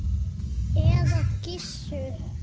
eða Gissur!